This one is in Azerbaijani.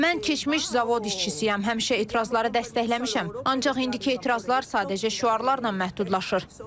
Mən keçmiş zavod işçisiyəm, həmişə etirazları dəstəkləmişəm, ancaq indiki etirazlar sadəcə şüarlarla məhdudlaşır.